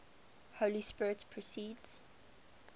holy spirit proceeds